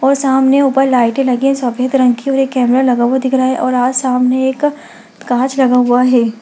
और सामने ऊपर लाइटें लगी है सफेद रंग की और एक कैमरा लगा हुआ दिख रहा है और आज सामने एक काँच लगा हुआ है।